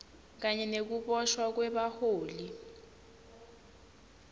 kanye nekuboshwa kwebaholi